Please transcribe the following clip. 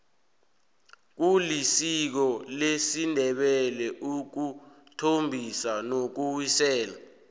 kulisiko lesindebele ukuthombisa nokuwisela